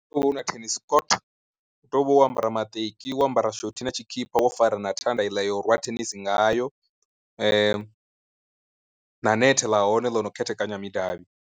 Una thenis court, u tea u vha wo ambara maṱeki wo ambara shothi na tshikhipha wo fara na thanda i ḽa ya u rwa thenisi ngayo, na nethe ḽa hone ḽo no khethekanya midavhi.